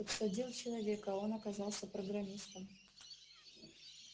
подсадил человека а он оказался программистом